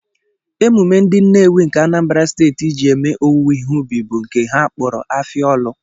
Emume ndị Nnewi nke Anambra Steeti ji eme owuwe ihe ubi bụ nke ha kpọrọ Afia ọlụ